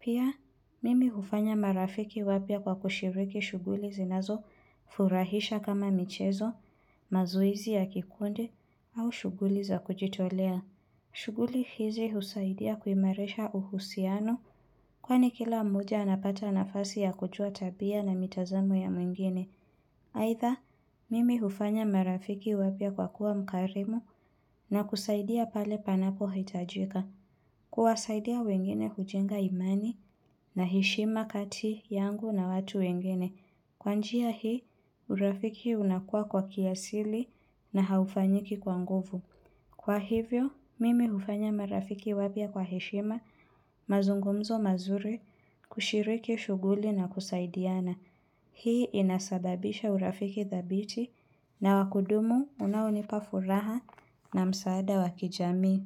Pia, mimi hufanya marafiki wapya kwa kushiriki shughuli zinazofurahisha kama michezo, mazoezi ya kikundi au shughuli za kujitolea. Shughuli hizi husaidia kuimarsiha uhusiano kwani kila mmoja anapata nafasi ya kujua tabia na mitazamo ya mwingine. Aidha, mimi hufanya marafiki wapya kwa kuwa mkarimu na kusaidia pale panapohitajika. Kuwasaidia wengine hujenga imani na heshima kati yangu na watu wengine. Kwa njia hii, urafiki unakuwa kwa kiasili na haufanyiki kwa nguvu. Kwa hivyo, mimi hufanya marafiki wapya kwa heshima, mazungumzo mazuri, kushiriki shughuli na kusaidiana. Hii inasababisha urafiki thabiti na wakudumu unaonipa furaha na msaada wa kijami.